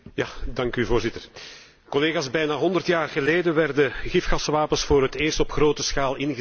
Bijna honderd jaar geleden werden gifgaswapens voor het eerst op grote schaal ingezet in de Eerste Wereldoorlog.